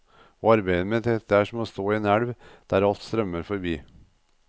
Å arbeide med dette er som å stå i en elv der alt strømmer forbi.